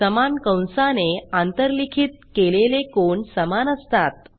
समान कंसाने आंतरलिखित केलेले कोन समान असतात